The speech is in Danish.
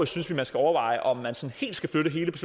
synes vi man skal overveje om man skal flytte hele